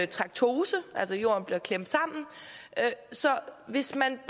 traktose altså at jorden bliver klemt sammen så hvis man